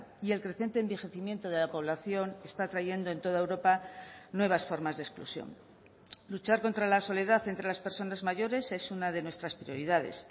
y el creciente envejecimiento de la población está trayendo en toda europa nuevas formas de exclusión luchar contra la soledad entre las personas mayores es una de nuestras prioridades